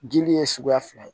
Dili ye suguya fila ye